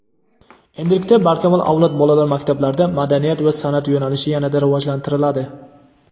Endilikda "Barkamol avlod" bolalar maktablarida "Madaniyat va san’at" yo‘nalishi yanada rivojlantiriladi.